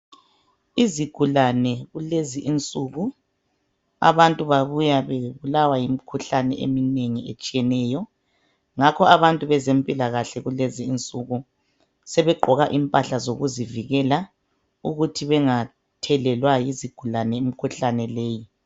Izigulane kulezi insuku abantu babuya bebulawa yimikhuhlane eminengi etshiyeneyo ngakho abantu bezempilakahle kulezi insuku sebegqoka impahla zokuzivikela ukuthi bengathelelwa yizigulane imikhuhlane leyi.